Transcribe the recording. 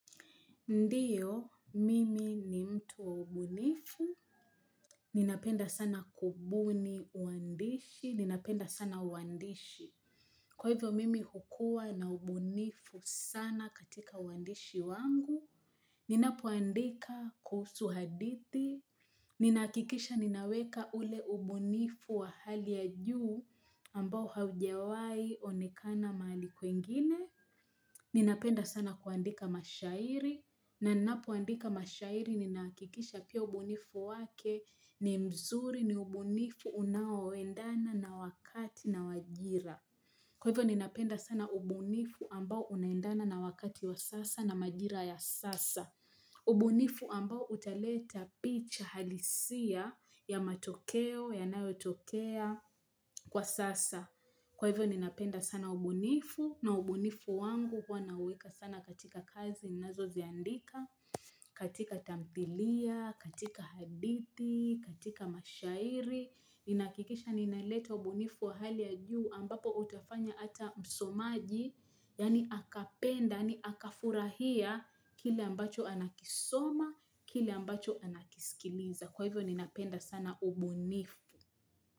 Ndio, mimi ni mtu wa ubunifu, ninapenda sana kubuni uandishi, ninapenda sana uandishi. Kwa hivyo, mimi hukuwa na ubunifu sana katika uandishi wangu, ninapoandika kuhusu hadithi, ninahakikisha ninaweka ule ubunifu wa hali ya juu ambao haujawahi onekana mahali kwengine, Ninapenda sana kuandika mashahiri na ninapoandika mashahiri ninahakikisha pia ubunifu wake ni mzuri ni ubunifu unaoendana na wakati na wajira. Kwa hivyo ninapenda sana ubunifu ambao unaendana na wakati wa sasa na majira ya sasa. Ubunifu ambao utaleta picha halisia ya matokeo yanayotokea kwa sasa. Kwa hivyo ninapenda sana ubunifu, na ubunifu wangu huwa nauweka sana katika kazi ninazo ziandika, katika tamthilia, katika hadithi, katika mashahiri. Ninahakikisha ninaleta ubunifu wa hali ya juu ambapo utafanya ata msomaji, yaani akapenda, yaani akafurahia kile ambacho anakisoma, kile ambacho anakisikiliza. Kwa hivyo ninapenda sana ubunifu.